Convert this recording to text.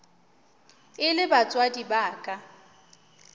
e le batswadi ba ka